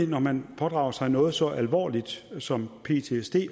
når man pådrager sig noget så alvorligt som ptsd